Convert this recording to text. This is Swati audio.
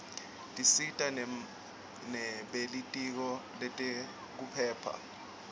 tisita nebelitiko letekiphepha